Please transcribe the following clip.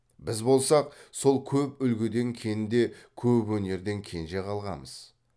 біз болсақ сол көп үлгіден кенде көп өнерден кенже қалғамыз